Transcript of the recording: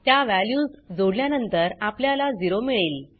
त्या वॅल्यूज जोडल्या नंतर आपल्याला 0मिळेल